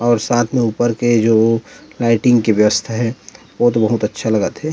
और साथ में ऊपर के जो लाइटिंग के व्यवस्था है ओ तो अच्छा लगा थे।